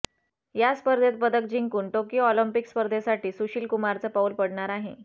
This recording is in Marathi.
या स्पर्धेत पदक जिंकून टोकियो ऑलिम्पिक स्पर्धेसाठी सुशील कुमारचं पाऊल पडणार आहे